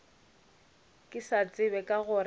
ke sa tsebe ka gore